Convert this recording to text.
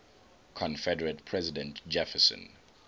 confederate president jefferson